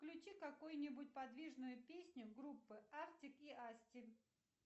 включи какую нибудь подвижную песню группы артик и асти